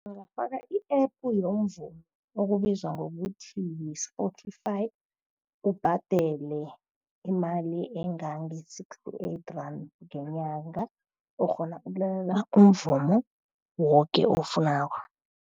Ungafaka i-App yomvumo okubizwa ngokuthi yi-Spotify, ubhadele imali engange-sixty-eight rand ngenyanga. Ukghona ukulalela umvumo woke owufunako.